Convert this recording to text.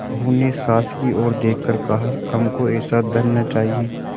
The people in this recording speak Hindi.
बहू ने सास की ओर देख कर कहाहमको ऐसा धन न चाहिए